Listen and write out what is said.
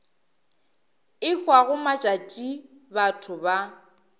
e hwago matšatši batho ba